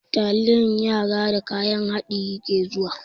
Taliyan yara da kayan haɗi yake zuwa.